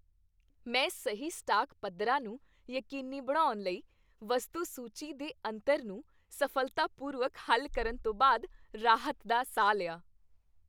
ਮੈਂ ਸਹੀ ਸਟਾਕ ਪੱਧਰਾਂ ਨੂੰ ਯਕੀਨੀ ਬਣਾਉਣ ਲਈ, ਵਸਤੂ ਸੂਚੀ ਦੇ ਅੰਤਰ ਨੂੰ ਸਫ਼ਲਤਾਪੂਰਵਕ ਹੱਲ ਕਰਨ ਤੋਂ ਬਾਅਦ ਰਾਹਤ ਦਾ ਸਾਹ ਲਿਆ